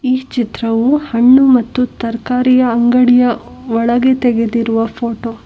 ಈ ಚಿತ್ರವು ಹಣ್ಣು ಮತ್ತು ತರಕಾರಿ ಅಂಗಡಿಯ ಒಳಗೆ ತೆಗೆದಿರುವ ಫೋಟೋ .